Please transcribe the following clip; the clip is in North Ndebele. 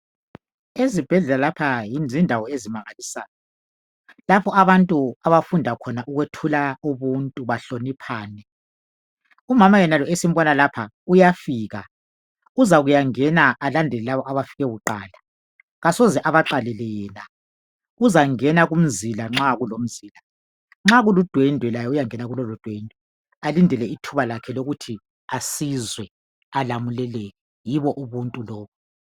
ezibhedlela lapha zindawo ezimangalisayo lapha abangtun abafunda khona ukwethula umntu bahloniphane umama yenalo esimbona lapha uyafika uzakuyangena alandelel labo abafike kuqala kasoze abaqalele yena uzangena kumzila nxa kulomzila nxa kulundwendwe laye uyangena kulolo dwendwe alindele ithuba lakhe lokuthi asizwe alamuleleke yibo ubuntu lobu